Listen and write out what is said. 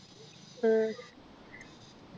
ഹും